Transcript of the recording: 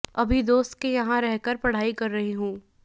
अभी दोस्त के यहां रहकर पढ़ाई कर रही हूं